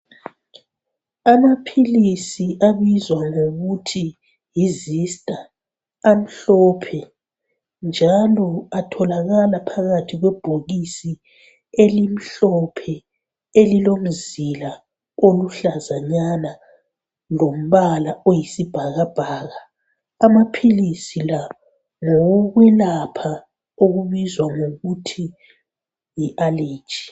Amaphilisi abizwa ngokuthi vista amhlophe njalo atholakala phakathi kwebhokisi elimhlophe elilomzila oluhlazanyana lombala oyisibhakabhaka. Amaphilisi la ngawo kwelapha okubizwa kuthwa yi aleji.